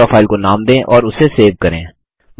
अपनी draw file को नाम दें और उसे सेव करें